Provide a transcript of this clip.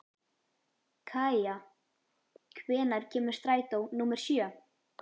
Kaía, hvenær kemur strætó númer sjö?